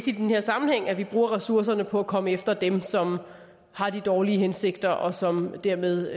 i den her sammenhæng at vi bruger ressourcerne på at komme efter dem som har de dårlige hensigter og som dermed